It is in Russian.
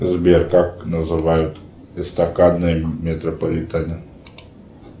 сбер как называют эстакадные метрополитены